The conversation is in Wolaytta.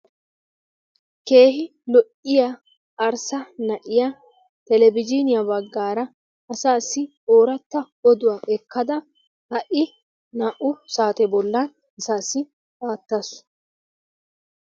Keehi lo'iyaa arssa na'iya televizhzhiniya bagaara asaassi ooratta oduwa ekkada ha'i na''u saate bollan asaassi aattasu.